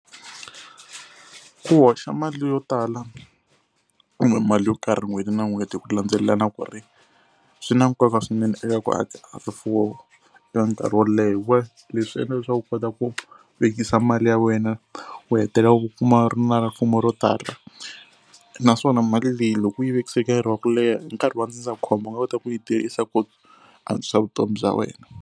Ku hoxa mali yo tala kumbe mali yo karhi n'hweti na n'hweti hi ku landzelelana ku ri swi na nkoka swinene eka ku aka rifuwo ra nkarhi wo leha . Leswi endla leswaku u kota ku vekisa mali ya wena u hetelela u kuma u ri na rifumo ro tala naswona mali leyi loko u yi vekise nkarhi wa ku leha hi nkarhi wa ndzindzakhombo u nga kota ku yi tirhisa ku antswisa vutomi bya wena.